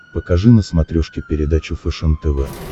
покажи на смотрешке передачу фэшен тв